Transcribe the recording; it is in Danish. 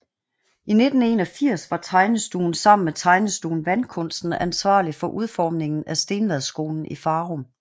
I 1981 var tegnestuen sammen med Tegnestuen Vandkunsten ansvarlig for udformningen af Stenvadskolen i Farum